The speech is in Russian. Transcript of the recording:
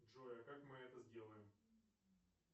джой а как мы это сделаем